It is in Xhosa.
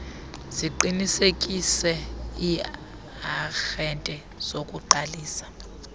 ziqinisekise iiarhente zokuqalisa